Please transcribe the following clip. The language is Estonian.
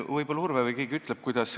Võib-olla Urve või keegi ütleb.